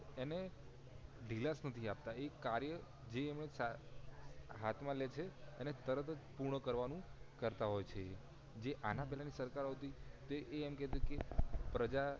એને ઢીલાસ નથી આપતા એ કાર્ય જે એને જે હાથ માં લેછે અને તરત જ પૂર્ણ કરવા નું કરતા હોય છે આના પહેલા ની સરકાર હતી એ એમ કેતી કે પ્રજા ને